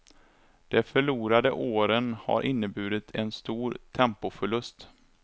De förlorade åren har inneburit en stor tempoförlust.